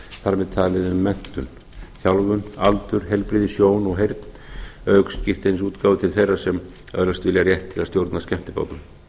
þar með talið um menntun þjálfun aldur heilbrigði sjón og heyrn auk skírteinisútgáfu til þeirra sem öðlast vilja rétt til að stjórna skemmtibátum